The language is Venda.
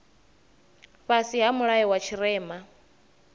fhasi ha mulayo wa tshirema